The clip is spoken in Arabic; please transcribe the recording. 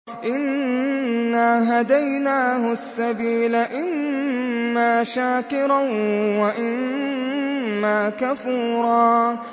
إِنَّا هَدَيْنَاهُ السَّبِيلَ إِمَّا شَاكِرًا وَإِمَّا كَفُورًا